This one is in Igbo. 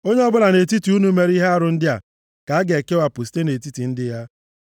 “ ‘Onye ọbụla nʼetiti unu mere ihe arụ ndị a, ka a ga-ekewapụ site nʼetiti ndị ya.